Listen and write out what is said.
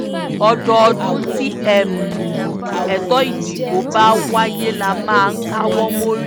ọdọọdún tí ètò ìdìbò bá wáyé la máa ń káwọ́ mórí